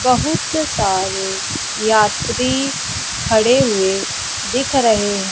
बहुत सारे यात्री खड़े हुए दिख रहे हैं।